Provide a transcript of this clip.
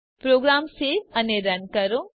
programme save અને run કરો